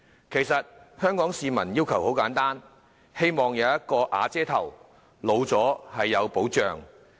其實香港市民的要求很簡單，便是希望"有瓦遮頭"，讓年老時生活有保障。